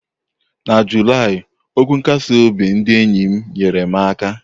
Na Julaị, okwu nkasi obi ndị enyi m nyere m aka.